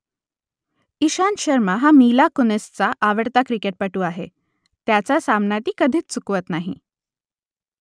इशांत शर्मा हा मिला कुनिसचा आवडता क्रिकेटपटू आहे त्याचा सामना ती कधीच चुकवत नाही